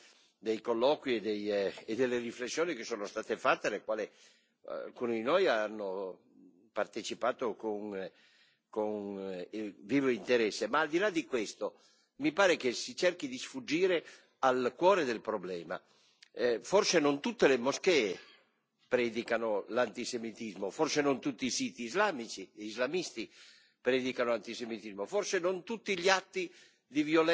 Devo dare atto all'iniziativa del Presidente che è molto opportuna, dei colloqui e delle riflessioni che sono state fatte alle quali alcuni di noi hanno partecipato con vivo interesse. Ma al di là di questo mi pare che si cerchi di sfuggire al cuore del problema. Forse non tutte le moschee predicano l'antisemitismo, forse non tutti i siti islamici e islamisti